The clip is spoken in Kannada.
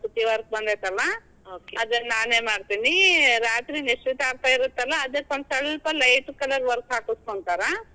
ಕಸೂತಿ. work ಬಂದೇತಲಾ ನಾನೇ ಮಾಡ್ತೀನಿ. ರಾತ್ರಿ ನಿಶ್ಚಿತಾರ್ಥ ಇರತ್ತಲ್ಲ, ಒಂದ್ ಸ್ವಲ್ಪ light colour work ಹಾಕುಸ್ಕೊಂತರ.